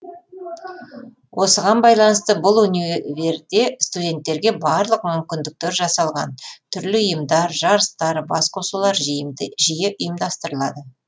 осыған байланысты бұл универде студенттерге барлық мүмкіндіктер жасалған түрлі ұйымдар жарыстар басқосулар жиі ұйымдастырылады